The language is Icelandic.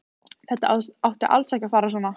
Þetta átti alls ekki að fara svona.